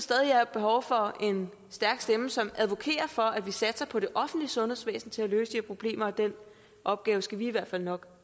der er behov for en stærk stemme som advokerer for at vi satser på det offentlige sundhedsvæsen til at løse de her problemer og den opgave skal vi i hvert fald nok